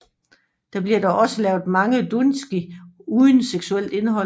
Der bliver dog også lavet mange doujinshi uden seksuelt indhold